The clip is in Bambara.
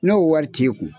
N'o wari t'e kun